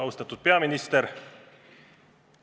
Austatud peaminister!